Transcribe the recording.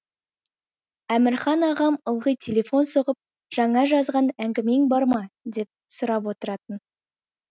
әмірхан ағам ылғи телефон соғып жаңа жазған әңгімең бар ма деп сұрап отыратын